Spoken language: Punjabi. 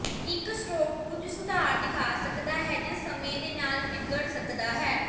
ਇੱਕ ਸਟ੍ਰੋਕ ਕੁਝ ਸੁਧਾਰ ਦਿਖਾ ਸਕਦਾ ਹੈ ਜਾਂ ਸਮੇਂ ਦੇ ਨਾਲ ਵਿਗੜ ਸਕਦਾ ਹੈ